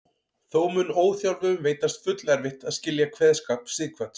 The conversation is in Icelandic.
Þó mun óþjálfuðum veitast fullerfitt að skilja kveðskap Sighvats.